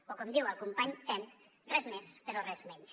o com diu el company ten res més però res menys